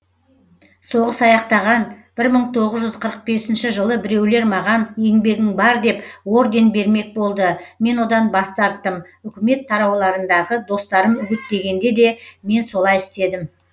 соғыс аяқтаған бір мың тоғыз жүз қырық бесінші жылы біреулер маған еңбегің бар деп орден бермек болды мен одан бас тарттым үкімет тарауларындағы достарым үгіттегенде де мен солай істедім